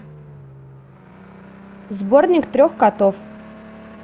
сборник трех котов